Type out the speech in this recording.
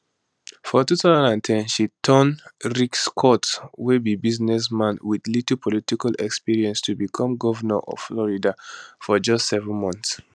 for 2010 she turn rick scott wey be businessman wit little political experience to become govnor of florida for just seven months